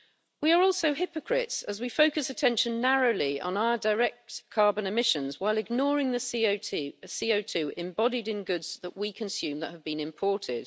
We are also hypocrites, as we focus attention narrowly on our direct carbon emissions whilst ignoring the CO2 embodied in the goods we consume that have been imported.